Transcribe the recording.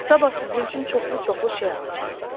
Sabah sizin üçün çoxlu-çoxlu şey alacam.